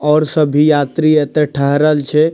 और सभी यात्री एता ठहरल छै।